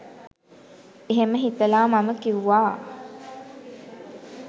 එහෙම හිතලා මම කිව්වා